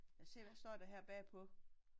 Lad os se hvad står der her bag på